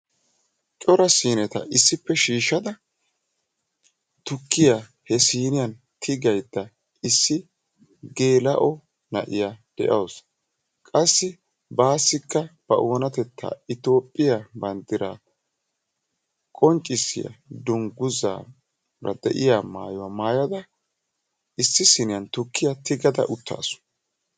Cora siineta issippe shiishshada tuukiya he siiniyan tiggiyayda issi geela'o na'iya deawusu. Qassi bassikka ba oonatetta toophphiya qoonccissiya dunguzzaa maayada uttaasu.